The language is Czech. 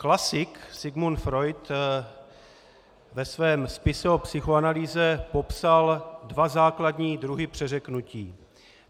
Klasik Sigmund Freud ve svém spise o psychoanalýze popsal dva základní druhy přeřeknutí.